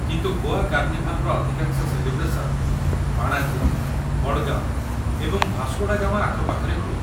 କିନ୍ତୁ ଗୋଆ କାର୍ଣ୍ଣିଭାଲ୍‌ର ଅଧିକାଂଶ ସେଲିବ୍ରେସନ୍ ପାଣାଜୀ, ମଡ଼ଗାଓଁ ଏବଂ ଭାସ୍କୋଡ଼ାଗାମା ଆଖପାଖରେ ହୁଏ ।